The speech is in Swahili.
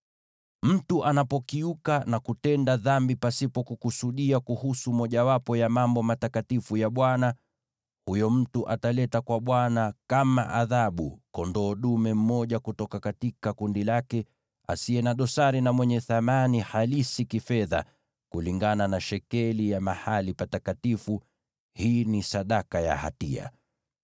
“Mtu anapokiuka na kutenda dhambi pasipo kukusudia kuhusu mojawapo ya mambo matakatifu ya Bwana , huyo mtu ataleta kwa Bwana kama adhabu kondoo dume mmoja kutoka kundi lake, asiye na dosari na mwenye thamani halisi kifedha, kulingana na shekeli ya mahali patakatifu. Hii ni sadaka ya hatia.